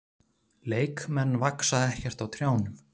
Leikmenn vaxa ekkert á trjánum.